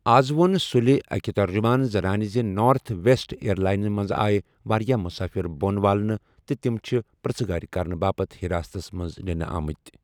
از وو٘ن سُلہِ اكہِ ترجُمان زنانہِ زِ نارتھ ویسٹ ایرلاینہٕ منزٕ آیہ وارِیاہ مُسٲفِر بون والنہٕ تہٕ تِم چھِ پر٘ژھہٕ گٲر كرنہٕ باپتھ حراستس منز نِنہٕ آمٕتۍ ۔